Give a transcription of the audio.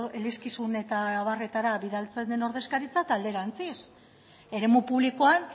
elizkizun eta abarretara bidaltzen den ordezkaritza eta alderantziz eremu publikoan